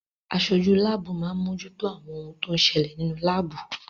Aṣojú láàbù máa ń mojútó àwọn ohun tó ń ṣẹlẹ̀ nínú láàbù.